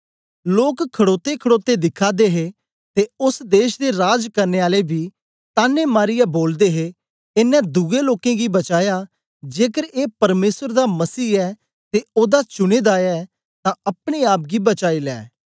लोक खडोतेखड़ोते दिखा दे हे ते ओस देश दे राज करने आले बी तान्ने मारीयै बोलदे हे एनें दुए लोकें गी बचाया जेकर ए परमेसर दा मसीह ऐ ते ओदा चुने दा ऐ तां अपने आप गी बचाई लै